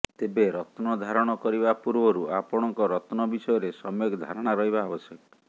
ତେବେ ରତ୍ନ ଧାରଣ କରିବା ପୂର୍ବରୁ ଆପଣଙ୍କ ରତ୍ନ ବିଷୟରେ ସମ୍ୟକ୍ ଧାରଣା ରହିବା ଆବଶ୍ୟକ